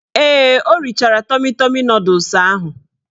Ee, o richara tọmi tọmi nọdụs ahụ.